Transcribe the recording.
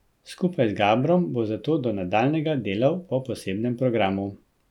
Skupaj z Gabrom bo zato do nadaljnjega delal po posebnem programu.